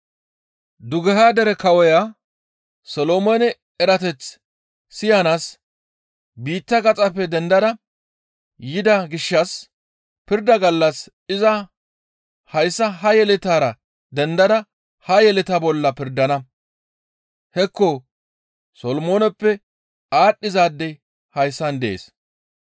Dugeha dere kawoya Solomoone erateth siyanaas biitta gaxappe dendada yida gishshas pirda gallas iza hayssa ha yeletaara dendada ha yeletaa bolla pirdana. Hekko Solomooneppe aadhdhizaadey hayssan dees.